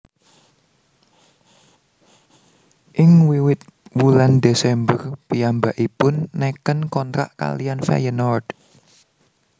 Ing wiwit wulan Desember piyambakipun neken kontrak kaliyan Feyenord